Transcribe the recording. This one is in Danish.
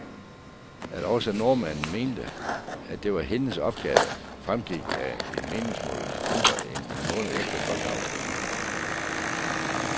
At også nordmændene mente, at det var hendes opgave, fremgik af en meningsmåling mindre end en måned efter folkeafstemningen.